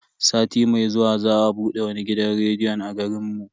Sati mai zuwa za a bude wani gidan rediyon a garin mu.